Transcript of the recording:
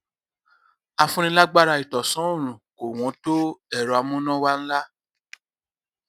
afúnilágbáraìtànsánòòrùn kò wọn tó ẹrọ amúnáwá ńlá